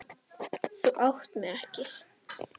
Þú átt mig ekki.